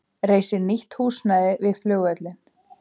Reisi nýtt húsnæði við flugvöllinn